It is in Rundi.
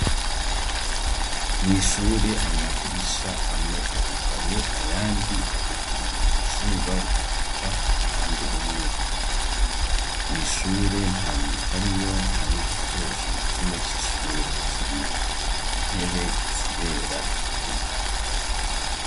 Mw'ishure amadirisha amwe arugaye ayandi aruguruye izuba rikubita uruhande rumwe mw'ishure ntamuntu ariyo nta n'igikoresho na kimwe c'ishure kiriyo intebe zirerade.